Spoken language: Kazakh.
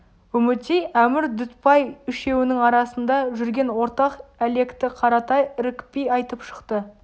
үмітей әмір дүтбай үшеуінің арасында жүрген ортақ әлекті қаратай ірікпей айтып шықты